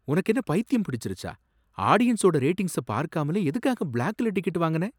உனக்கு என்ன பைத்தியம் பிடிச்சிருச்சா? ஆடியன்ஸோட ரேட்டிங்ஸ பார்க்காமலே எதுக்காக பிளாக்ல டிக்கெட் வாங்குன?